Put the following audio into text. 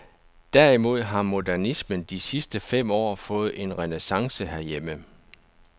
Derimod har modernismen de sidste fem år fået en renæssance herhjemme.